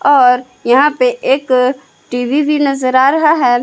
और यहां पर एक टी_वी भी नजर आ रहा है।